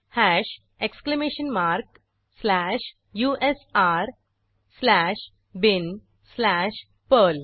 hash exclamation mark slash U S R slash bin slash Perl